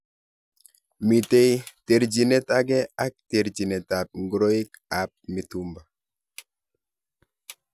Mitei terjinet age ak terjinet ab ngoroik ab mitumba.